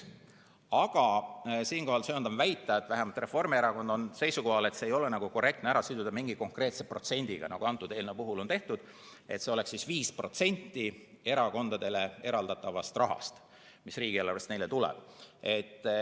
Aga siinkohal söandan väita, et vähemalt Reformierakond on seisukohal, et seda ei ole korrektne siduda mingi konkreetse protsendiga, nagu eelnõu puhul on tehtud, et see oleks 5% erakondadele eraldatavast rahast, mis riigieelarvest neile tuleb.